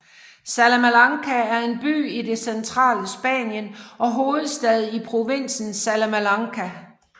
Salamanca er en by i det centrale Spanien og hovedstad i provinsen Salamanca